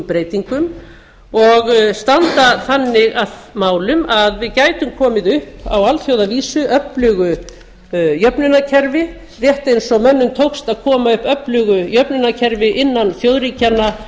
breytingum og standa þannig að málum að við gætum komið á alþjóðavísu öflugu jöfnunarkerfi rétt eins og mönnum tókst að koma upp öflugu jöfnunarkerfi innan þjóðríkjanna